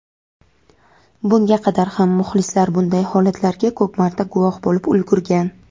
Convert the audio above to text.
bunga qadar ham muxlislar bunday holatlarga ko‘p marta guvoh bo‘lib ulgurgan.